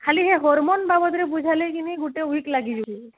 ଖାଲି ସେଇ hormone ବାବଦରେ ବୁଝେଇଲେଖିନି ଗୋଟେ week ଲାଗି ଯାଉଛି